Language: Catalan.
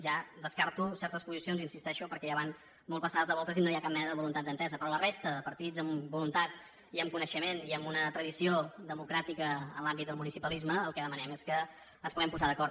ja descarto certes posicions hi insisteixo perquè ja van molt passades de voltes i no hi ha cap mena voluntat d’entesa però a la resta de partits amb voluntat i amb coneixement i amb una tradició democràtica en l’àmbit del municipalisme el que demanem és que ens puguem posar d’acord